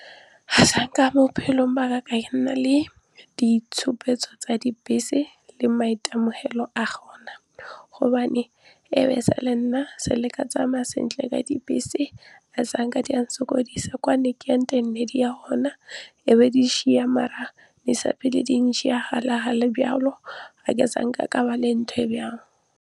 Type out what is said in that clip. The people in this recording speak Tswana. Azanka bophelong ba ka ka nna le ditshupetso tsa dibese le maitemogelo a gona gobane nna sa le ka tsamaya sentle ka dibese azanka di a nsokodisa kwa ne ke yang teng di ne di ya gona e be di nshiya mara byalo azanke ka ba le ntho e byao.